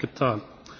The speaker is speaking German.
Das habe ich getan.